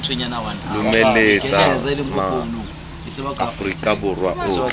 lomeletsa ma aforika borwa otlhe